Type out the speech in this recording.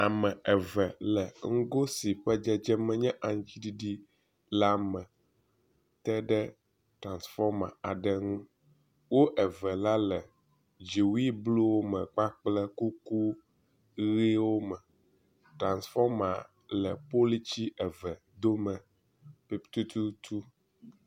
Ame eve le ŋgó si ƒe dzedzeme nye aŋtsiɖiɖi la me teɖe transfɔma aɖe ŋu, wó eve la le dziwui bluwo me kpakple kuku ɣiwo me, transfɔma le politsi eve dome tututu